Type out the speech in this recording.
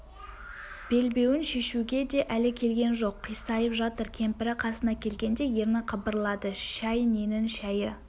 белбеуін шешуге де әлі келген жоқ қисайып жатыр кемпірі қасына келгеңде ерні қыбырлады шай ненің шайы